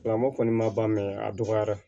Lamɔ kɔni ma ban mɛ a dɔgɔyara